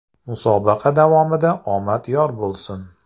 Musobaqa davomida omad yor bo‘lsin!